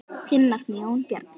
Þinn nafni, Jón Bjarni.